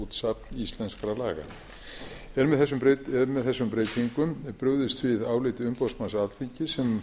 heimilað að gefa út safn íslenskra laga er á þessum breytingum brugðist við áliti umboðsmanns alþingis sem